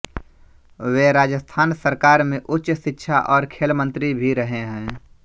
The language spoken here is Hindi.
वे राजस्थान सरकार में उच्च शिक्षा और खेल मंत्री भी रहे हैं